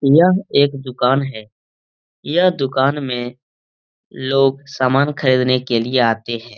यह एक दुकान है यह दुकान में लोग सामान खरीदने के लिए आते है।